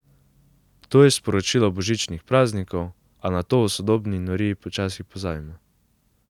To je sporočilo božičnih praznikov, a na to v sodobni noriji včasih pozabimo.